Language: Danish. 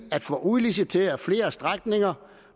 at få udliciteret flere strækninger